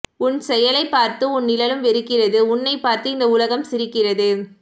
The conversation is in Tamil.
உன் செயலைப் பார்த்து உன் நிழலும் வெறுக்கிறது உன்னைப் பார்த்து இந்த உலகம் சிரிக்கிறது